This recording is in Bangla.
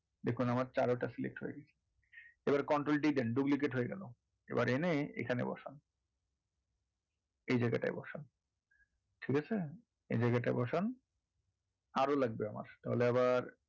দেখুন আমার তেরোটা select হয়ে গেছে এবার control D দেন duplicate হয়ে গেলো এবারে এনে এখানে বসান এই জায়গা টায় বসান ঠিক আছে? এই জায়গাটায় বসান আরও লাগবে আমার তাহলে আমার,